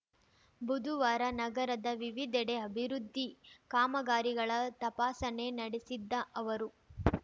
ಬುದುವಾರ ನಗರದ ವಿವಿಧೆಡೆ ಅಭಿವೃದ್ಧಿ ಕಾಮಗಾರಿಗಳ ತಪಾಸಣೆ ನಡೆಸಿದ್ದ ಅವರು